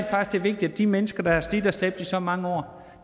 at det er vigtigt at de mennesker der har slidt og slæbt i så mange år